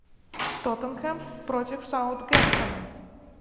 тоттенхэм против саутгемптона